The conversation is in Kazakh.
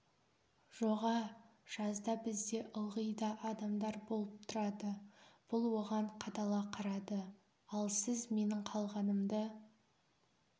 жоғә жазда бізде ылғи да адамдар болып тұрады бұл оған қадала қарады ал сіз менің қалғанымды